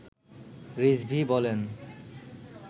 রিজভী বলেন